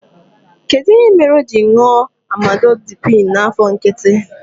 Kedụ ihe mere o ji ṅụọ Amlodipịn n'afọ nkịtị?